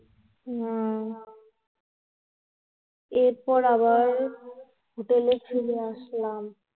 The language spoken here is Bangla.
না, এরপর আবার Hotel এ চলে আসলাম.